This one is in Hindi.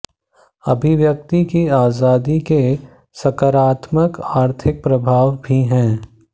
अभिव्यक्ति की आजादी के सकारात्मक आर्थिक प्रभाव भी हैं